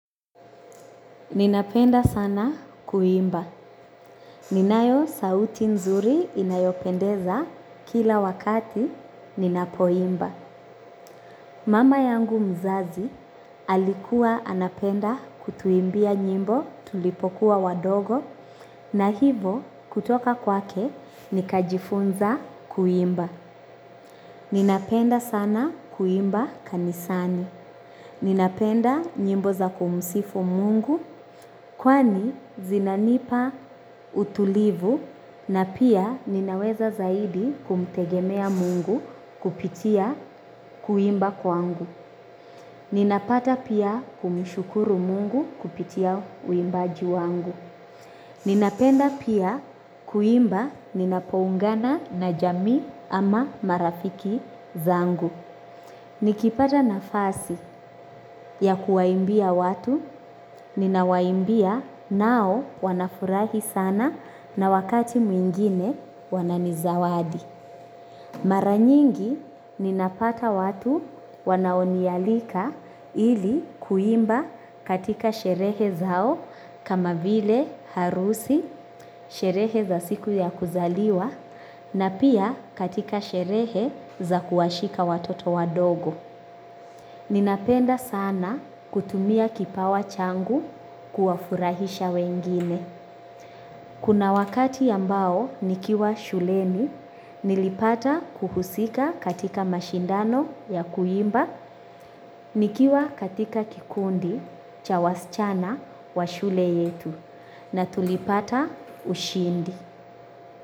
Ninapenda sana kuimba. Ninayo sauti nzuri inayopendeza kila wakati ninapoimba. Mama yangu mzazi alikuwa anapenda kutuimbia nyimbo tulipokuwa wadogo na hivo kutoka kwake nikajifunza kuimba. Ninapenda sana kuimba kanisani. Ninapenda nyimbo za kumsifu mungu kwani zinanipa utulivu na pia ninaweza zaidi kumtegemea mungu kupitia kuimba kwangu. Ninapata pia kumshukuru mungu kupitia uimbaju wangu. Ninapenda pia kuimba ninapoungana na jamii ama marafiki zangu. Nikipata nafasi ya kuwaimbia watu, ninawaimbia nao wanafurahi sana na wakati mwingine wanani zawadi. Mara nyingi ninapata watu wanaonialika ili kuimba katika sherehe zao kama vile harusi, sherehe za siku ya kuzaliwa na pia katika sherehe za kuwashika watoto wadogo. Ninapenda sana kutumia kipawa changu kuwafurahisha wengine. Kuna wakati ambao nikiwa shuleni, nilipata kuhusika katika mashindano ya kuimba, nikiwa katika kikundi, cha wasichana wa shule yetu. Na tulipata ushindi.